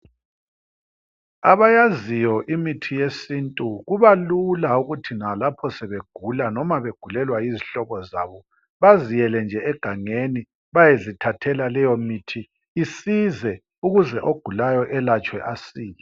Abayaziyo imithi yesintu kubalula ukuthi nalapho sebegula noma begulelwa yizihlobo zabo baziyele nje egangeni bayezithathela leyomithi isize ukuze ogulayo elatshwe asile.